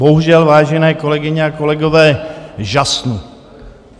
Bohužel, vážené kolegyně a kolegové, žasnu.